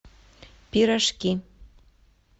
пирожки